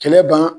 Kɛlɛ ban